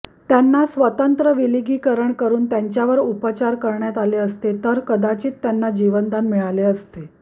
त्यांना स्वतंत्र विलगीकरण करून त्यांच्यावर उपचार करण्यात आले असते तर कदाचित त्यांना जीवदान मिळाले असते